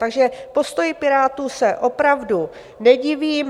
Takže postoji Pirátů se opravdu nedivím.